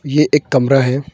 यह एक कमरा है।